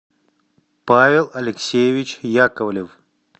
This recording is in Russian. павел алексеевич яковлев